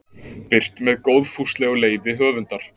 Birt með góðfúslegu leyfi höfundar.